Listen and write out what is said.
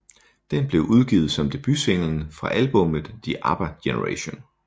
Den blev udgivet som debutsinglen fra albummet The ABBA Generation